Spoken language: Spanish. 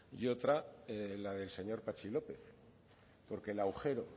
y otra la del señor patxi lópez porque el agujero